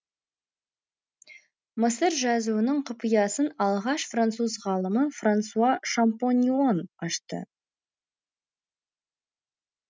мысыр жазуының құпиясын алғаш француз ғалымы франсуа шампольон ашты